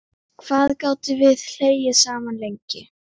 Hvað við gátum hlegið saman.